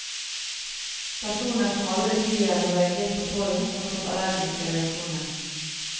Personer som aldri tidligere har reagert på pollen, har fått allergiske reaksjoner.